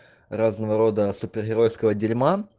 разного рода супергеройского дерьма